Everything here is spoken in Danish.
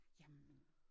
Jamen